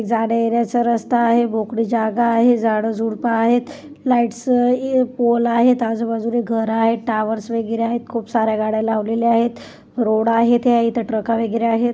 जाणे-येण्याचा रस्ता आहे मोकळी जागा आहे झाडं झुडपं आहेत लाइट्स चे पोल आहेत आजूबाजूला घर आहे टॉवर्स वगैरे आहेत खूप सार्‍या गाड्या लावलेले आहेत रोड आहे त्या इथं ट्रकं वगैरे आहेत.